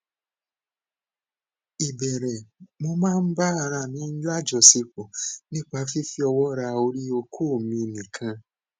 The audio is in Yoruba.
ìbéèrè mo máa ń ba ara mi lajosepo nípa fífi owo ra ori oko mi nikan